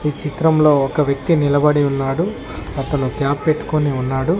ఈ చిత్రంలో ఒక వ్యక్తి నిలబడి ఉన్నాడు అతను క్యాప్ పెట్టుకొని ఉన్నాడు.